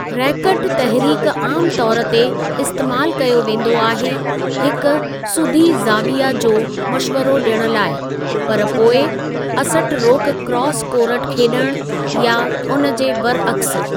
Racket तहरीक आमु तौर ते इस्तेमालु कयो वेंदो आहे हिक सुधी ज़ावीया जो मश्वरो ॾियणु लाइ, पर पोइ असटरोक क्रॉस कोरट खेॾणु, या उन जे बरअक्स।